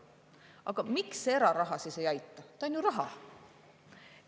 Aga miks eraraha siis ei aita, ta on ju raha?